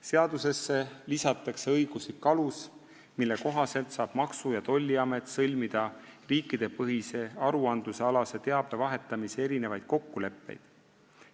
Seadusesse lisatakse õiguslik alus, mille kohaselt saab Maksu- ja Tolliamet sõlmida riikidepõhise aruande alase teabe vahetamise kokkuleppeid.